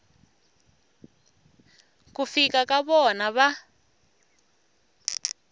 ku fika ka vona va